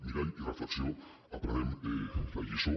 mirall i reflexió aprenem la lliçó